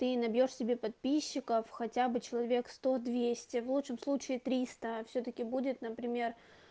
ты набьёшь себе подписчиков хотя бы человек сто двести в лучшем случае три сто всё-таки будет например